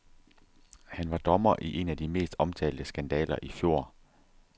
Han var dommer i en af de mest omtalte skandaler i fjor.